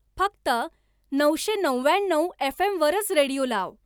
फक्त नऊशेनव्व्याण्णव F. M. वरच रेडिओ लाव.